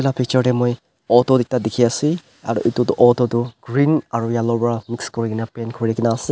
picture te moi auto ekta dekhi ase aru etu tu auto tu green aru yellow pra paint kori kena as--